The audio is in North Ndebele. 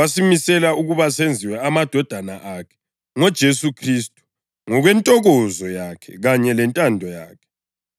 wasimisela ukuba senziwe amadodana akhe ngoJesu Khristu, ngokwentokozo yakhe kanye lentando yakhe,